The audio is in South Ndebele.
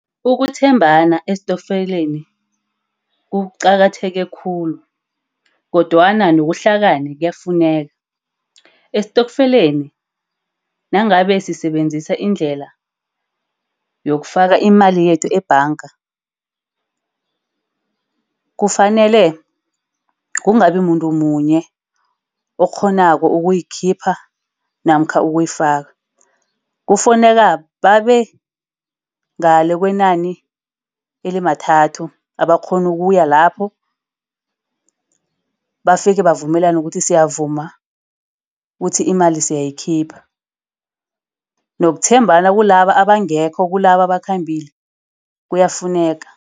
Ukuthembana estokfeleni kuqakatheke khulu. Kodwana nokuhlakani kuyafuneka. Estokfeleni, nangabe sisebenzisa indlela yokufaka imali yethu ebhanga, kufanele kungabimuntu munye orhonako ukuyikhipha namkha ukuyifaka kufuneka babe ngale kwenani elimathathu abakghona ukuya lapho. Bafike bavumelane ukuthi siyavuma kuthi imali siyayikhipha. Nokuthembana kulaba abangekho kulaba akhambile kuyafuneka.